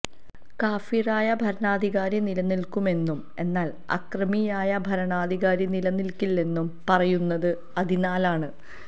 കാഫിറായ ഭരണാധികാരി നിലനില്ക്കുമെന്നും എന്നാല് അക്രമിയായ ഭരണാധികാരി നിലനില്ക്കില്ലെന്നും പറയുന്നതും അതിനാലാണ്